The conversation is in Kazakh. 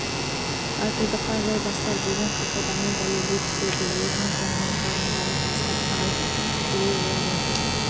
батылдыққа жол бастар деген қағиданы дәлелдей түседі өзінің соңынан қалғандарды бастап алып кетуінде болып отыр